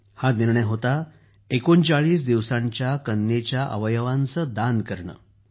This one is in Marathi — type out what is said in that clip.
हा निर्णय होता ३९ दिवसांच्या कन्येच्या अवयवांचं दान करणं